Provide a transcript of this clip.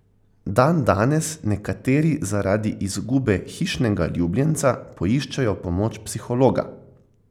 Dandanes nekateri zaradi izgube hišnega ljubljenca poiščejo pomoč psihologa.